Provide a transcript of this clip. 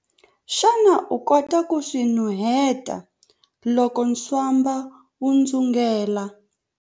Xana u kota ku swi nuheta loko ntswamba wu dzungela?